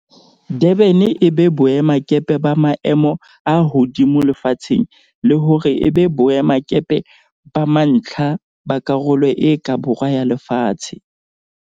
Durban e be boemakepe ba maemo a hodimo lefatsheng le hore e be boemakepe ba mantlha ba Karolo e ka Borwa ya Lefatshe.